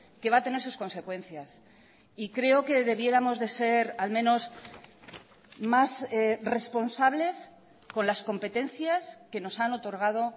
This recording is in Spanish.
que va a tener sus consecuencias y creo que debiéramos de ser al menos más responsables con las competencias que nos han otorgado